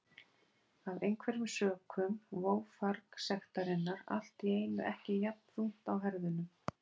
Af einhverjum sökum vó farg sektarinnar allt í einu ekki jafn þungt á herðunum.